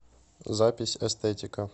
запись эстетика